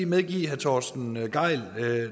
medgive herre torsten gejl